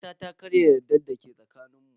Kawata ta karya yardar da ke tsakanin mu.